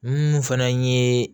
Minnu fana ye